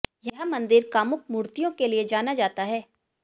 यह मंदिर कामुक मूर्तियों के लिए जाना जाता है